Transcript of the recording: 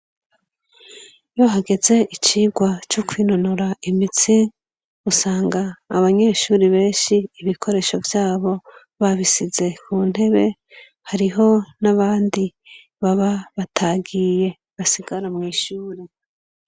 Yo hageze icirwa cokwinonora imitsi usanga abanyeshuri benshi ibikoresho vyabo babisize ku ntebe hariho n'abandi baba batagiye basigara mw'ishuri.